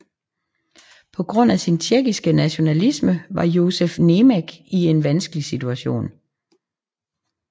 På grund af sin tjekkiske nationalisme var Josef Němec i en vanskelig situation